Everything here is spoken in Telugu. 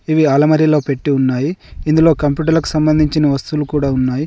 ఇవి అలామరిలో పెట్టీ ఉన్నాయి ఇందులో కంప్యూటర్ లకు సంబంధించిన వస్తువులు కూడా ఉన్నాయి.